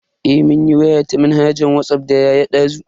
Eh mun yi waya ta manhajar Whatsapp da yaya dazu.